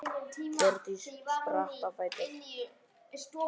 Hjördís spratt á fætur.